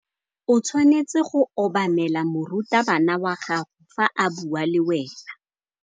O tshwanetse go obamela morutabana wa gago fa a bua le wena.